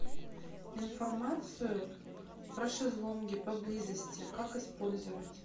информацию про шезлонги поблизости как использовать